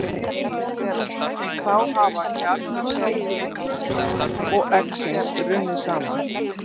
Þá hafa kjarnar sáðfrumunnar og eggsins runnið saman.